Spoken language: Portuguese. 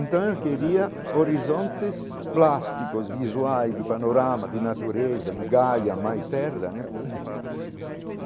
Então eu queria horizontes plásticos, visuais de panorama, de natureza, de galha, mais terra né.